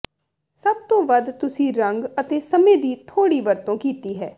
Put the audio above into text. ਸਭ ਤੋਂ ਵੱਧ ਤੁਸੀਂ ਰੰਗ ਅਤੇ ਸਮੇਂ ਦੀ ਥੋੜ੍ਹੀ ਵਰਤੋਂ ਕੀਤੀ ਹੈ